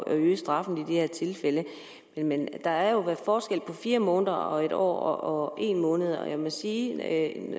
at øge straffen i de her tilfælde men der er jo forskel på fire måneder og på en år og en måned og jeg må sige at